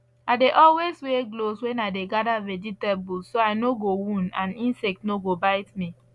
i dey always wear gloves when i dey gather vegetable so i no go wound and insect no go bite me